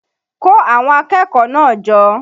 Kó àwọn akẹ́kọ̀ọ́ náà jọ!